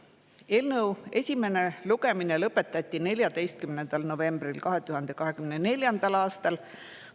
Eelnõu esimene lugemine lõpetati 14. novembril 2024. aastal.